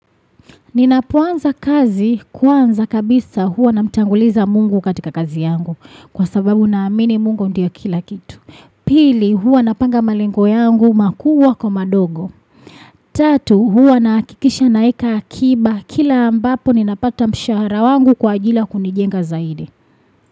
Ninapoanza kazi kwanza kabisa huwa namtanguliza Mungu katika kazi yangu kwa sababu naamini Mungu ndio kila kitu. Pili huwa napanga malengo yangu makubwa kwa madogo. Tatu huwa nahakikisha naweka akiba kila ambapo ninapata mshahara wangu kwa ajila ya kunijenga zaidi.